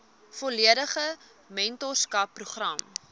volledige mentorskap program